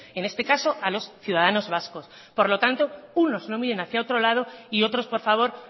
en este caso a los ciudadanos vascos por lo tanto unos no miren hacia otro lado y otros por favor